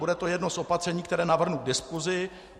Bude to jedno z opatření, které navrhnu k diskusi.